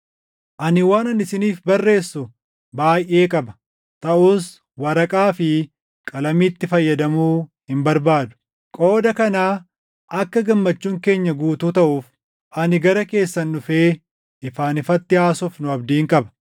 Ani waanan isiniif barreessu baayʼee qaba; taʼus waraqaa fi qalamiitti fayyadamuu hin barbaadu. Qooda kanaa akka gammachuun keenya guutuu taʼuuf ani gara keessan dhufee ifaan ifatti haasofnu abdiin qaba.